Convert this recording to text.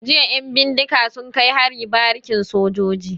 Jiya 'yan bindiga sun kai hari barikin sojoji.